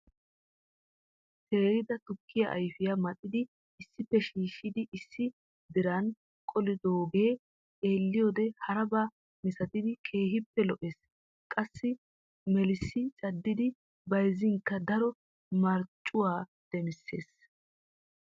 Teerida tukkiya ayfiyaa maxxidi issippe shiishshidi issi diran qolidooge xeeliyoode haraba misaatidi keehippe lo"essi qassi melissi caddidi bayzzinkka daro marccuwaa demissees.